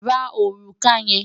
Ra òrùka yẹn!